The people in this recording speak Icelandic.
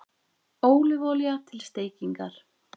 Ólífuolía til steikingar